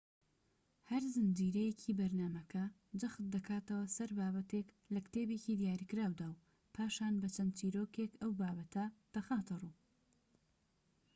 هەر زنجیرەیەکی بەرنامەکە جەخت دەکاتەوە سەر بابەتێك لە کتێبێکی دیاریکراودا و پاشان بە چەند چیرۆکێك ئەو بابەتە دەخاتە ڕوو